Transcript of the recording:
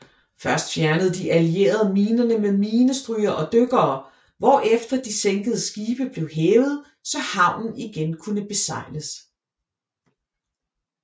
Først fjernede de allierede minerne med minestrygere og dykkere hvorefter de sænkede skibe blev hævet så havnen igen kunne besejles